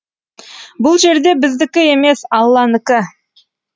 бұл жерде біздікі емес алланікі